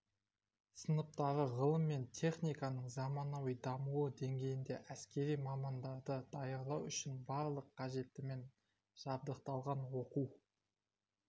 сыныптары ғылым мен техниканың заманауи дамуы деңгейінде әскери мамандарды даярлау үшін барлық қажеттімен жабдықталған оқу